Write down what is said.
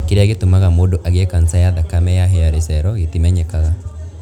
Kĩrĩa gĩtũmaga mũndũ agĩe kanca ya thakame ya hairy cell gĩtimenyekaga.